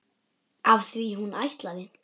Af því hún ætlaði.